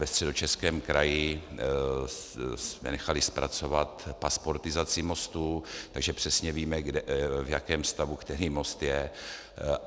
Ve Středočeském kraji jsme nechali zpracovat pasportizaci mostů, takže přesně víme, v jakém stavu který most je.